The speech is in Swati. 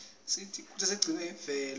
isisita kutsi sigcine imvelo